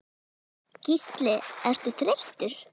Gísli: Ertu þreyttur?